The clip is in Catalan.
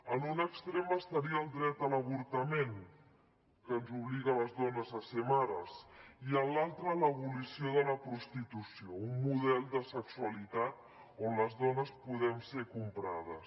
en un extrem estaria el dret a l’avortament que ens obliga a les dones a ser mares i en l’altre l’abolició de la prostitució un model de sexualitat on les dones podem ser comprades